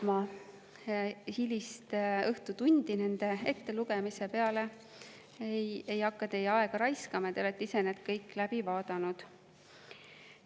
Ma hilist õhtutundi nende ettelugemise peale kulutama ei hakka, ei hakka teie aega raiskama, te olete ise need kõik läbi vaadanud.